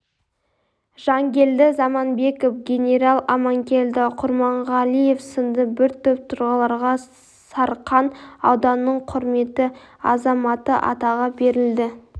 жангелді заманбеков генерал аманкелді құрманғалиев сынды бір топ тұлғаларға сарқан ауданының құрметті азаматы атағы берілді